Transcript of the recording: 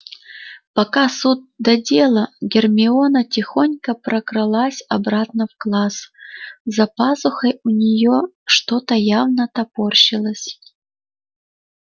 пока суд да дело гермиона тихонько прокралась обратно в класс за пазухой у нее что-то явно топорщилось